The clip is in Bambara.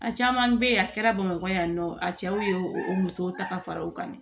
A caman bɛ yen a kɛra bamakɔ yan nɔ a cɛw ye o musow ta ka fara o kan